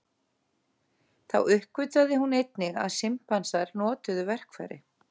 Þá uppgötvaði hún einnig að simpansar notuðu verkfæri.